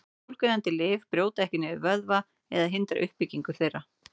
Bólgueyðandi lyf brjóta ekki niður vöðva eða hindra uppbyggingu þeirra.